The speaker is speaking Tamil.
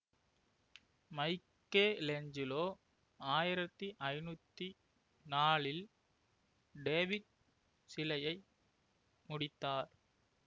மைக்கேலேஞ்சலோ ஆயிரத்தி ஐநூத்தி நாலில் டேவிட் சிலையை முடித்தார்